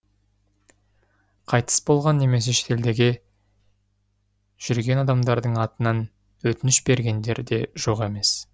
қайтыс болған немесе шетелдеге жүрген адамдардың да атынан өтініш бергендер де жоқ емес